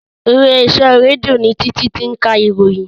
Ilé iṣẹ́ rédíò ni Títí ti ń ka ìròyìn